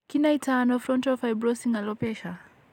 Kinaitano frontal fibrosing alopecia?